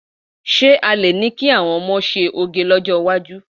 Ṣé a lè ní kí àwọn ọmọ ṣe òge lọ́jọ́ iwájú?